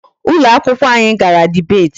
Ụlọ akwụkwọ anyị gara debate.